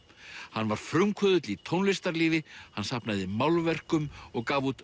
hann var frumkvöðull í tónlistarlífi hann safnaði málverkum og gaf út